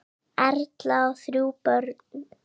Erla á þrjú börn.